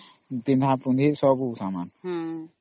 ପିନ୍ଧା ପୁନଧି ସବୁ ନ